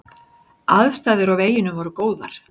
Aðstæður á veginum voru góðar.